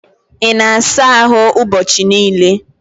Ị na-asa ahụ ụbọchị niile?